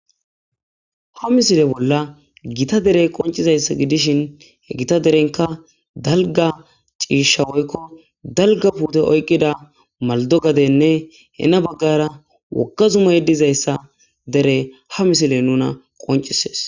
ha misile bolla gita dere qoncizayssa gidishin he gita derenka dalga ciishawoykko dalga puute oykqida maldogadenne hena baggara wogga zuma yeddizayssa dere ha misile nuna qoncises.